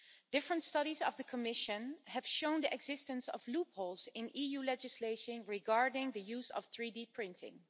Different studies by the Commission have shown the existence of loopholes in EU legislation regarding the use of 3D printing.